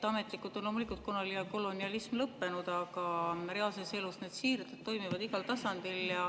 Ametlikult on loomulikult kolonialism lõppenud, aga reaalses elus need siirded toimivad igal tasandil.